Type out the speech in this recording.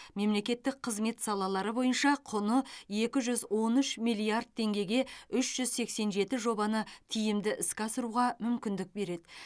мемлекеттік қызмет салалары бойынша құны екі жүз он үш миллиард теңгеге үш жүз сексен жеті жобаны тиімді іске асыруға мүмкіндік береді